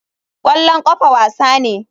Kwallon kafa wasa ne.